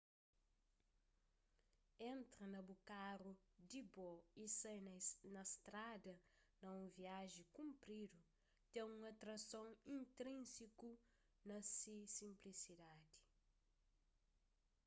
entra na bu karu di bo y sai na strada na un viaji kunpridu ten un atrason intrínsiku na se sinplisidadi